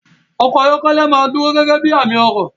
Ọkọ̀ ayọ́kẹ́lẹ́ máa dúró gẹ́gẹ́ bí i àmì ọrọ̀.